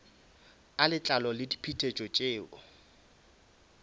a letlalo le diphetetšo tšeo